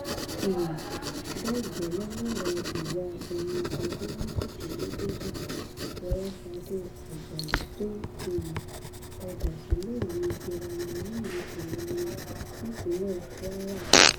um bẹ́ẹ̀ gẹ́lẹ́ lọrọ ìyá ẹni ọdún méjìdínlógójì fọlásadé ajayi tó um padà síléèwé girama nílùú ìlọrin nípínlẹ kwara